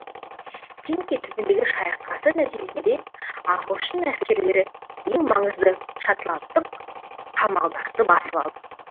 пинки түбіндегі шайқасы нәтижесінде ағылшын әскерлері ең маңызды шотландтық қамалдарды басып алды